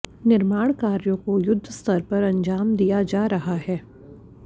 निर्माण कार्यों को युद्धस्तर पर अंजाम दिया जा रहा है